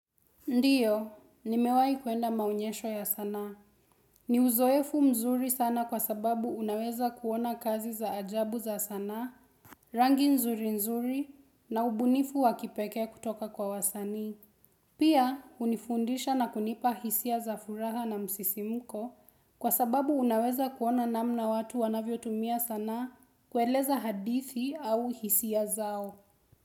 Ndiyo, nimewai kuenda maonyesho ya sana. Ni uzoefu mzuri sana kwa sababu unaweza kuona kazi za ajabu za sana, rangi nzuri nzuri na ubunifu wakipeke kutoka kwa wasani. Pia, unifundisha na kunipa hisia za furaha na msisimuko kwa sababu unaweza kuona namna watu wanavyo tumia sana kueleza hadithi au hisia zao.